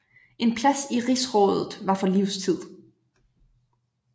En plads i rigsrådet var for livstid